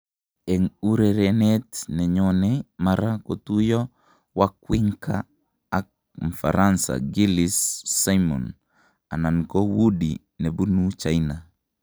En urerenet nenyone mara kotuyo wawrinka ak mfaransa Giles Simon anan ko Wudi nebunu China .